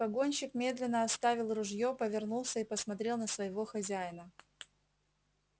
погонщик медленно отставил ружье повернулся и посмотрел на своего хозяина